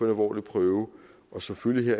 alvorlig prøve og som følge